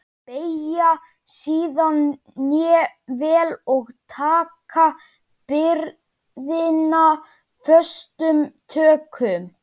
Beygja síðan hné vel og taka byrðina föstum tökum.